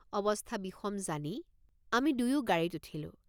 অৱস্থা বিষম জানি আমি দুয়ো গাড়ীত উঠিলোঁ।